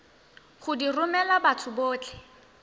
go di romela batho botlhe